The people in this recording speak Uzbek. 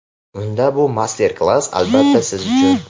unda bu master-klass albatta siz uchun.